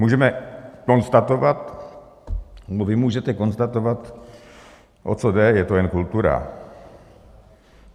Můžeme konstatovat, nebo vy můžete konstatovat - o co jde, je to jen kultura?